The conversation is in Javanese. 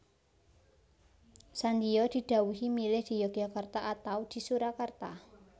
Sandiyo di dhawuhi milih di Yogyakarta atau di Surakarta